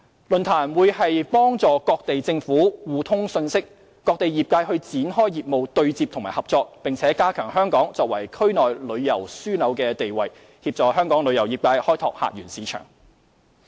論壇將有助各地政府互通信息，各地業界展開業務對接和合作，並加強香港作為區內旅遊樞紐的地位，協助香港旅遊業界開拓客源市場。